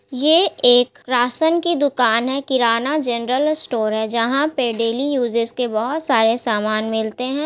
ये एक राशन की दूकान है किराना जनरल स्टोर है जहाँ पर डेली यूजेस के बहुत सारे सामान मिलते हैं ।